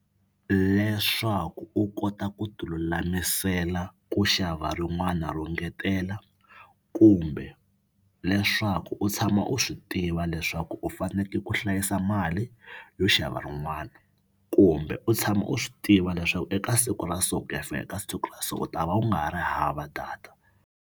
Leswaku u kota ku tilulamisela ku xava rin'wana ro ngetela kumbe leswaku u tshama u swi tiva leswaku u faneke ku hlayisa mali yo xava rin'wana kumbe u tshama u swi tiva leswaku eka siku ra so ku ya fika eka siku ra so u ta va u nga ha ri hava data.